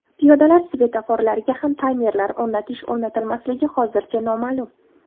Piyodalar svetoforlariga ham taymerlar o‘rnatish-o‘rnatilmasligi hozircha noma’lum.